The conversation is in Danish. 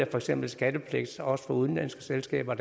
for eksempel skattepligt også for udenlandske selskaber